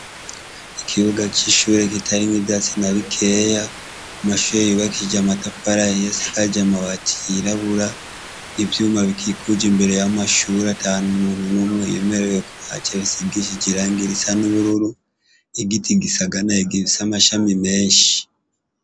ikibuga cishure kitarimwo ivyatsi anabikeyi ,amashure yubakishije amatafari ahiye asakaje amabati yirabura, ivyuma bikikuje imbere yamshure atandukanye ntamuntu numwe yemerewe kuhagera hasize irangi risa nubururu, igiti gifise amashami menshi.